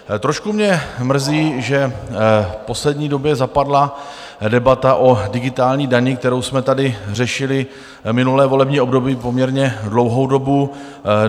Trošku mě mrzí, že v poslední době zapadla debata o digitální dani, kterou jsme tady řešili minulé volební období poměrně dlouhou dobu.